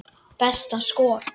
Besta skor